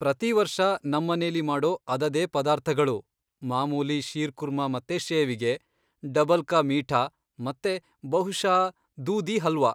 ಪ್ರತಿ ವರ್ಷ ನಮ್ಮನೇಲಿ ಮಾಡೋ ಅದದೇ ಪದಾರ್ಥಗಳು, ಮಾಮೂಲಿ ಶೀರ್ಕುರ್ಮಾ ಮತ್ತೆ ಶೇವಿಗೆ, ಡಬಲ್ ಕಾ ಮೀಠಾ, ಮತ್ತೆ ಬಹುಶಃ ದೂಧಿ ಹಲ್ವಾ.